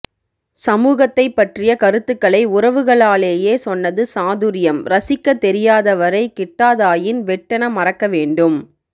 சமூகத்தைப் பற்றிய கருத்துக்களை உறவுகளாலேயே சொன்னது சாதுர்யம் ரசிக்கத் தெரியாதவரைக் கிட்டாதாயின் வெட்டென மறக்க வேண்டும்